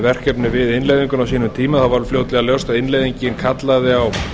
verkefnið við innleiðinguna á sínum tíma varð fljótlega ljóst að innleiðingin kallaði á